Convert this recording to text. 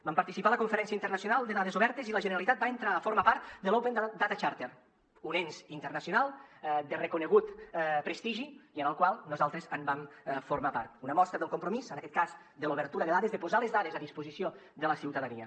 vam participar a la conferència internacional de dades obertes i la generalitat va entrar a formar part de l’open data charter un ens internacional de reconegut prestigi i del qual nosaltres en vam formar part una mostra del compromís en aquest cas de l’obertura de dades de posar les dades a disposició de la ciutadania